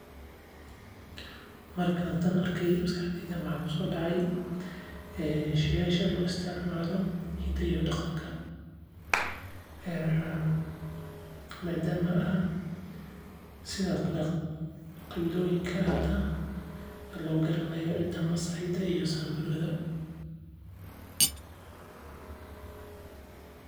Markaan tan arke masxakaxda waxaa kuso dacay sheyga loo isticmaalo hidaha iyo daqanka sido kale qabilaha loo garanayo masaayda iyo Samburu.